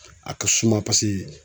A ka suma paseke